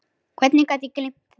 Hvernig gat ég gleymt því?